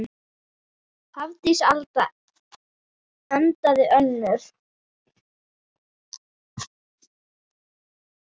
Hafdís Alda endaði önnur.